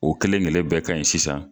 O kɛlenkelen bɛɛ kaɲi sisan.